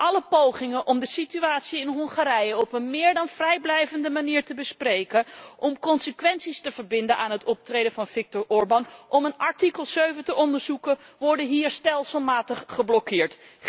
Alle pogingen om de situatie in Hongarije op een meer dan vrijblijvende manier te bespreken, om consequenties te verbinden aan het optreden van Viktor Orban, om een artikel 7 te onderzoeken, worden hier stelselmatig geblokkeerd.